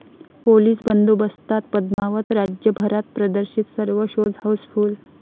police बंदोबस्तात पद्मावत राज्यभरात प्रदर्शित, सर्व शोज हाऊसफुल्ल